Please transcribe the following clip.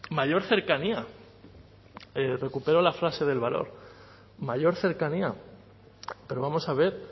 mayor cercanía recupero la frase del valor mayor cercanía pero vamos a ver